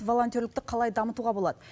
волонтерлікті қалай дамытуға болады